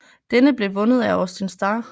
Denne blev vundet af Austin Starr